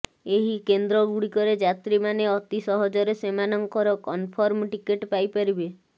ଏହି କେନ୍ଦ୍ରଗୁଡ଼ିକରେ ଯାତ୍ରୀମାନେ ଅତି ସହଜରେ ସେମାନଙ୍କର କନଫର୍ମ ଟିକେଟ ପାଇପାରିବେ